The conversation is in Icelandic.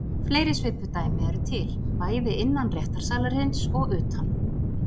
Fleiri svipuð dæmi eru til, bæði innan réttarsalarins og utan.